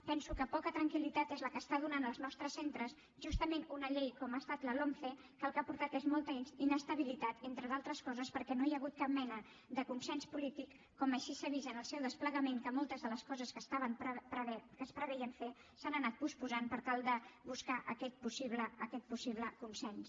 penso que poca tranquil·litat és la que dóna als nostres centres justament una llei com ha estat la lomce que el que ha portat és molta inestabilitat entre d’altres coses perquè no hi ha hagut cap mena de consens polític com així s’ha vist en el seu desplegament en què moltes de les coses que es preveien fer s’han anat posposant per tal de buscar aquest possible consens